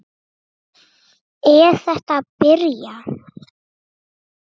Er þetta að byrja?